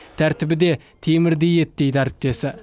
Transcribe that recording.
тәртібі де темірдей еді дейді әріптесі